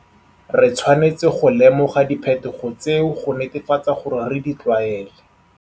Re tshwanetse go lemoga diphetogo tseo go netefatse gore re di tlwaele.